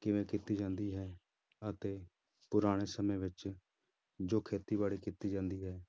ਕਿਵੇਂ ਕੀਤੀ ਜਾਂਦੀ ਹੈ ਅਤੇ ਪੁਰਾਣੇ ਸਮੇਂ ਵਿੱਚ ਜੋ ਖੇਤੀਬਾੜੀ ਕੀਤੀ ਜਾਂਦੀ ਹੈ